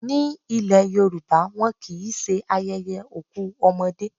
Ní ile Yorùbá, wọn kì í ṣe ayẹyẹ òkú ọmọdé.